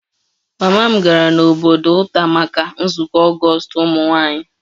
Mama m gara n'obodo nta maka nzukọ ogostu ụmụ nwanyị